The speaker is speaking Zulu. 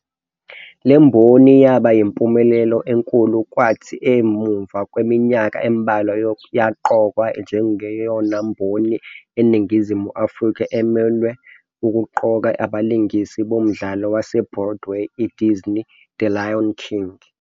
Lemboni yaba yimpumelelo enkulu kwathi emuva kweminyaka embalwa yaqokwa njengeyona mboni eNingizimu Afrika emelwe ukuqoka abalingisi bomdlalo wase-Broadway, i-Disney's "The Lion King".